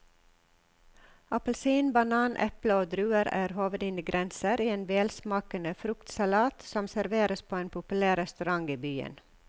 Appelsin, banan, eple og druer er hovedingredienser i en velsmakende fruktsalat som serveres på en populær restaurant i byen.